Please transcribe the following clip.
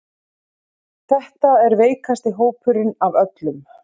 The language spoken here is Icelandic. Þetta er veikasti hópurinn af öllum